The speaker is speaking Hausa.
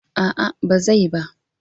A'a ba zai ba.